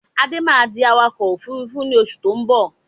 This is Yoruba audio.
Adé máa di awakọ̀ Òfurufú ni oṣù tó ń bọ̀